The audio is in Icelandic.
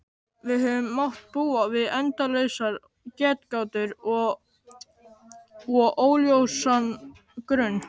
Við höfum mátt búa við endalausar getgátur og óljósan grun.